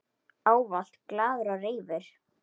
Ávallt glaður og reifur.